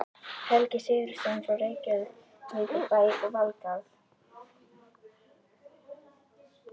Helgi Sigurðsson frá Reykjavíkurbæ og Valgarð